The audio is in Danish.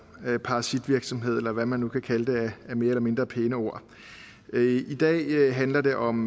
parasitvirksomhed eller hvad man nu kan kalde det af mere eller mindre pæne ord i dag handler det om